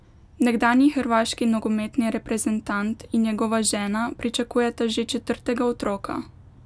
Nekdanji hrvaški nogometni reprezentant in njegova žena pričakujeta že četrtega otroka!